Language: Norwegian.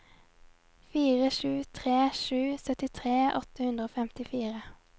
fire sju tre sju syttitre åtte hundre og femtifire